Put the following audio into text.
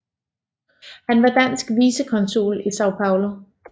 Han var dansk vicekonsul i Sao Paolo